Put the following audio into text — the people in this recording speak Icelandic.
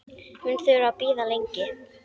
Mun þurfa að bíða lengi.